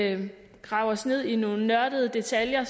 grave os ned i nogle nørdede detaljer